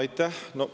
Aitäh!